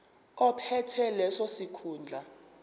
ophethe leso sikhundla